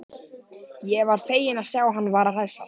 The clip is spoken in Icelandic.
Ég var feginn að sjá að hann var að hressast!